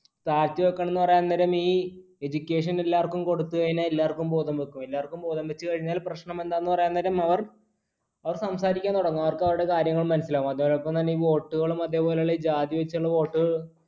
താഴ്ത്തിവെക്കണമെന്ന് പറയാൻ നേരം ഈ, education എല്ലാവർക്കും കൊടുത്തു കഴിഞ്ഞാൽ എല്ലാവർക്കും ബോധം വയ്ക്കും. എല്ലാവർക്കും ബോധം വച്ചു കഴിഞ്ഞാൽ പ്രശ്നം എന്താണ് പറയാൻ നേരം അവർ സംസാരിക്കുവാൻ തുടങ്ങും അവർക്ക് അവരുടെ കാര്യങ്ങൾ മനസ്സിലാകും. അതോടൊപ്പം തന്നെ ഈ vote കളും അതേപോലെയുള്ള ജാതി വെച്ചുള്ള vote